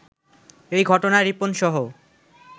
এ ঘটনায় রিপনসহ